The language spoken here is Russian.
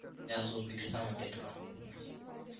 я с узбекистана детка